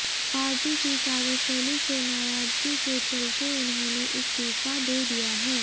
party की कार्यशैली से नाराजगी के चलते उन्होंने इस्तीफा दे दिया है